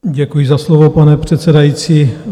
Děkuji za slovo, pane předsedající.